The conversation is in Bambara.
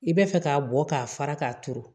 I b'a fɛ k'a bɔ k'a fara k'a turu